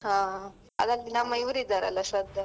ಹಾ ಅದ್ರಲ್ಲಿ ನಮ್ಮ ಇವ್ರು ಇದಾರಲ್ಲ ಶ್ರದ್ದಾ.